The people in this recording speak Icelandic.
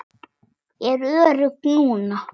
Ég er örugg núna.